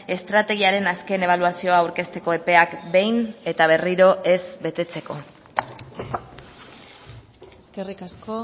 estrategiaren azken ebaluazioa aurkezteko epeak behin eta berriro ez betetzeko eskerrik asko